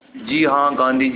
जी हाँ गाँधी जी